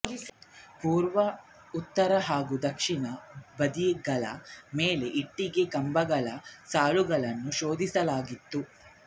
ಪೂರ್ವ ಉತ್ತರ ಹಾಗೂ ದಕ್ಷಿಣ ಬದಿಗಳ ಮೇಲೆ ಇಟ್ಟೆಗೆ ಕಂಬಗಳ ಸಾಲುಗಳನ್ನು ಶೋಧಿಸಲಾಗಿತ್ತು